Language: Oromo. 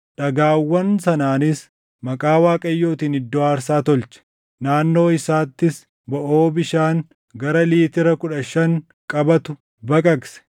Dhagaawwan sanaanis maqaa Waaqayyootiin iddoo aarsaa tolche; naannoo isaattis boʼoo bishaan gara liitira kudha shan qabatu baqaqse.